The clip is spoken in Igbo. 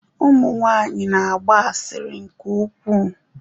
Ụmụ nwanyị na-agba asịrị nke ukwuu.